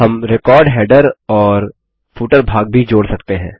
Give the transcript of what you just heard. हम record header और footer भाग भी जोड़ सकते हैं